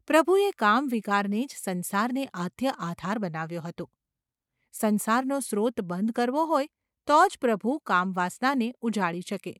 પ્રભુએ કામવિકારને જ સંસારને આદ્ય આધાર બનાવ્યો હતો; સંસારનો સ્રોત બંધ કરવો હોય તો જ પ્રભુ કામવાસનાને ઉજાડી શકે.